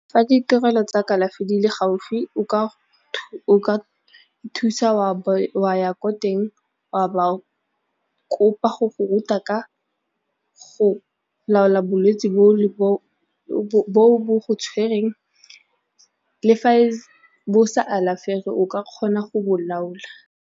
Fa ditirelo tsa kalafi di le gaufi o ka thusa wa ya ko teng wa ba kopa go go ruta ka go laola bolwetsi bo bo go tshwereng le fa bo sa alafege o ka kgona go bo laola.